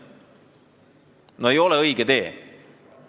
No see ei ole õige tee!